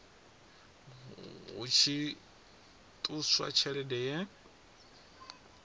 hu tshi ṱuswa tshelede ye